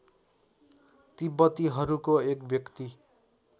तिब्बतीहरूको एक व्यक्ति